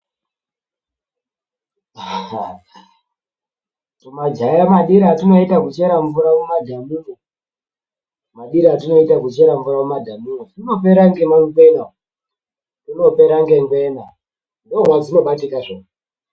Tmajaha madiro atinoita kuchera mvura mumadhamu tunopera ngemangwena umuzvinopera ngengwena ndomadzinobatika zve umu.